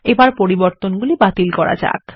এখন পরিবর্তনগুলি বাতিল করা যাক